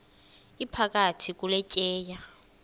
iphakathi kule tyeya